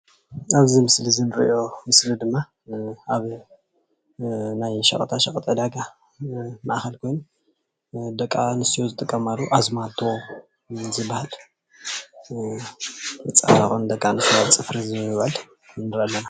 ኣብዚ ምስሊ እንሪኦ ድማ ኣብ ናይ ሸቀጣ ሸቀጥ ዕዳጋ ማእከል ኮይኑ ደቂ ኣነስትዮ ዝጥቀማሉ ኣዝማልቶ ዝባሃልን መፀባበቂ ንደቂ ኣነስትዮ ፅፍሪ ዝውዕል ንርኢ ኣለና፡፡